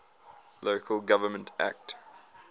local government act